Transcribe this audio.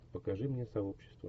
покажи мне сообщество